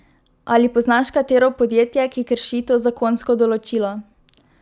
Ali poznaš katero podjetje, ki krši to zakonsko določilo?